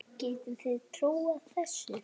Getið þið trúað þessu?